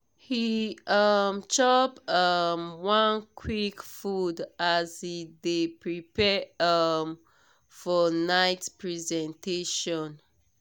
he um chop um one quick food as he dey prepare um for night presentation.